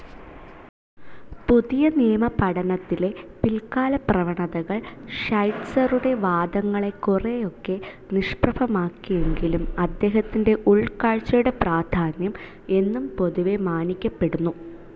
പുതിയനിയമപഠനത്തിലെ പിൽകാലപ്രവണതകൾ ഷൈറ്റ്‌സറുടെ വാദങ്ങളെ കുറെയൊക്കെ നിഷ്പ്രഭമാക്കിയെങ്കിലും അദ്ദേഹത്തിൻ്റെ ഉൾകാഴ്‌ചയുടെ പ്രാധാന്യം എന്നും പൊതുവെ മാനിക്കപ്പെടുന്നു.